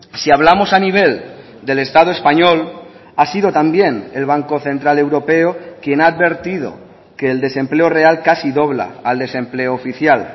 si hablamos a nivel del estado español ha sido también el banco central europeo quien ha advertido que el desempleo real casi dobla al desempleo oficial